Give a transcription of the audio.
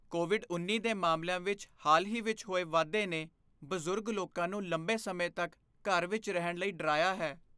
Covid ਉੱਨੀ ਦੇ ਮਾਮਲਿਆਂ ਵਿੱਚ ਹਾਲ ਹੀ ਵਿੱਚ ਹੋਏ ਵਾਧੇ ਨੇ ਬਜ਼ੁਰਗ ਲੋਕਾਂ ਨੂੰ ਲੰਬੇ ਸਮੇਂ ਤੱਕ ਘਰ ਵਿੱਚ ਰਹਿਣ ਲਈ ਡਰਾਇਆ ਹੈ